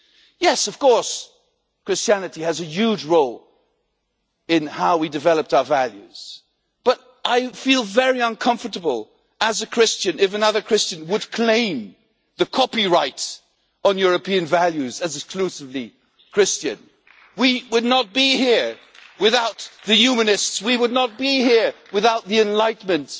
Yes, of course, Christianity has a huge role in how we developed our values, but I would feel very uncomfortable as a Christian, if another Christian claimed the copyrights on European values as exclusively Christian. We would not be here without the humanists, we would not be here without the Enlightenment.